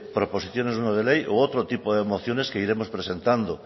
proposiciones no de ley u otro tipo de mociones que iremos presentando